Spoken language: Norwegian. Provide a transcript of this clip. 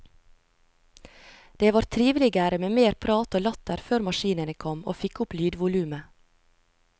Det var triveligere med mer prat og latter før maskinene kom og fikk opp lydvolumet.